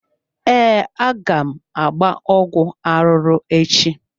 Ee, aga m agba ọgwụ arụrụ echi.